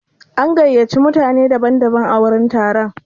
An gayyaci mutane daban daban a wurin taron.